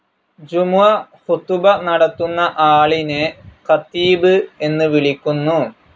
ജുമുഅ ഖുതുബ നടത്തുന്ന ആളിനെ ഖതീബ് എന്ന് വിളിക്കുന്നു.